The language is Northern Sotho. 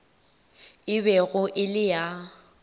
e bego e le ya